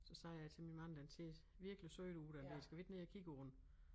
Så sagde jeg til min mand den ser virkelig sød ud den der skal vi ikke ned og kigge på den